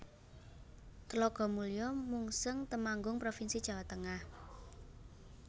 Tlogomulyo Mungseng Temanggung provinsi Jawa Tengah